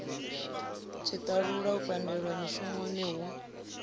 tshiṱalula u pandelwa mushumoni hu